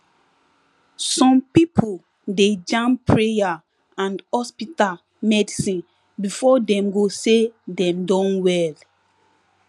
some pipo dey jam prayer and hospital medicine before dem go say dem don well